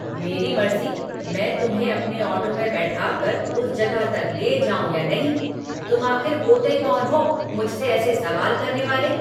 मेरी मर्ज़ी मैं तुम्हें अपने ऑटो में बैठाकर उस जगह तक ले जाऊँ या नहीं। तुम आख़िर होते कौन हो मुझसे ऐसे सवाल करने वाले?